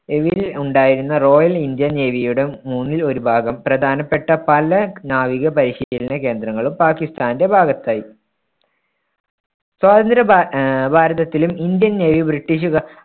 Will ഉണ്ടായിരുന്ന royal Indian നേവിയുടെ മൂന്നിൽ ഒരു ഭാഗം പ്രധാനപ്പെട്ട പല നാവിക പരിശീലന കേന്ദ്രങ്ങളും പാകിസ്താന്‍ടെ ഭാഗത്തായി. സ്വാതന്ത്ര ഭാ ആഹ് ഭാരതത്തിലും ഇന്ത്യൻ നേവി ബ്രിട്ടിഷുകാ